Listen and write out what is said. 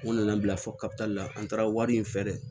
N nana n bila fo kata la an taara wari in fɛ dɛ